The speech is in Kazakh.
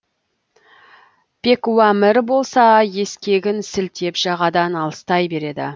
пекуамір болса ескегін сілтеп жағадан алыстай береді